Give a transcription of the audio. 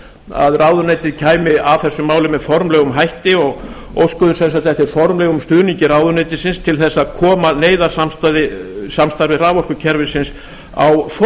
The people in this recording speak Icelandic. að ráðuneytið kæmi að þessu máli með formlegum hætti og óskuðum sem sagt eftir formlegum stuðningi ráðuneytisins til þess að koma neyðarsamstarfi raforkukerfisins á